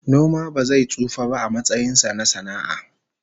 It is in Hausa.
Noma ba zai tsufa ba a matsayin sa na sana'a